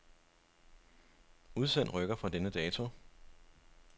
Udsend rykker fra denne dato.